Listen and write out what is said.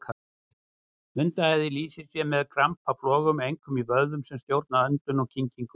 Hundaæði lýsir sér með krampaflogum, einkum í vöðvum sem stjórna öndun og kyngingu.